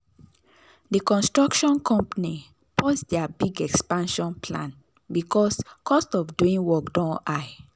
the construction company pause their big expansion plan because cost of doing work don high.